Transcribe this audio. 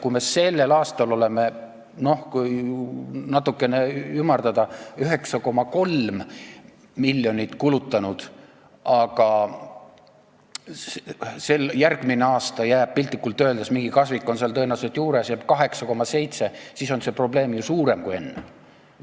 Kui me sellel aastal oleme, kui natuke ümardada, 9,3 miljonit kulutanud, aga järgmiseks aastaks jääb piltlikult öeldes – mingi kasvik on seal tõenäoliselt juures – 8,7 miljonit, siis on see probleem suurem kui enne.